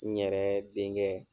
N yɛrɛ denkɛ.